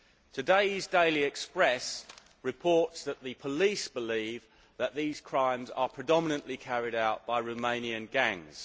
Today's Daily Express reports that the police believe that these crimes are predominantly carried out by Romanian gangs.